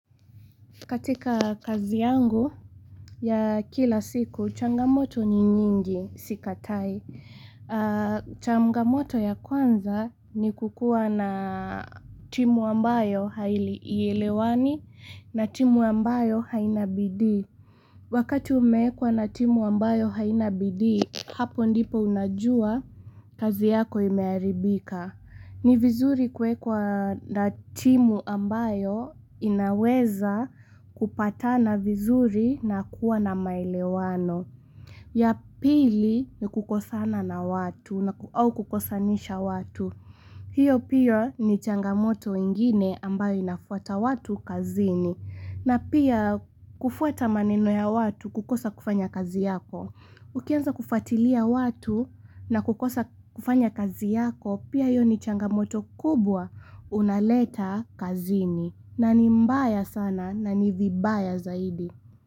Katika kazi yangu ya kila siku, changamoto ni nyingi sikatai. Changamoto ya kwanza ni kuwa na timu ambayo haielewani na timu ambayo haina bidii. Wakati umewekwa na timu ambayo haina bidii, hapo ndipo unajua kazi yako imeharibika. Ni vizuri kuwekwa na timu ambayo inaweza kupatana vizuri na kuwa na maelewano. Ya pili ni kukosana na watu au kukosanisha watu. Hiyo pia ni changamoto ingine ambayo inafuata watu kazini. Na pia kufuata maneno ya watu kukosa kufanya kazi yako. Ukianza kufatilia watu na kukosa kufanya kazi yako pia hayo ni changamoto kubwa unaleta kazini na ni mbaya sana na ni vibaya zaidi.